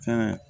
Fɛn